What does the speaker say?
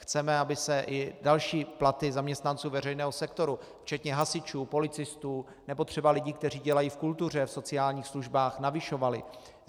Chceme, aby se i další platy zaměstnanců veřejného sektoru včetně hasičů, policistů nebo třeba lidí, kteří dělají v kultuře, v sociálních službách, navyšovaly.